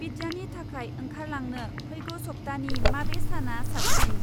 पिज्जानि थाखाय ओंखारलांनो फैगौ सप्तानि माबे साना साबसिन?